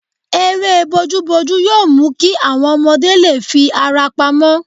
Eré bojúbojú yóò mú kí àwọn ọmọdé lè fi ara pamọ́